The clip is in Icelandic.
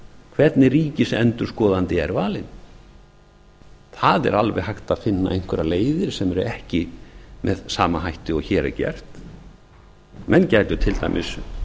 hvernig ríkisendurskoðandi er valinn það er alveg hægt að finna einhverjar leiðir sem eru ekki með sama hætti og hér er gert menn gætu til dæmis